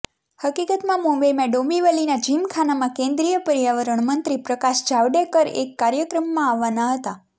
હકીકતમાં મુંબઈમાં ડોંબીવલીના જિમખાનામાં કેન્દ્રિય પર્યાવરણ મંત્રી પ્રકાશ જાવડેકર એક કાર્યક્રમમાં આવવાના હતા